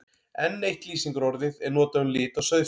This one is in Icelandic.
Enn eitt lýsingarorðið er notað um lit á sauðfé.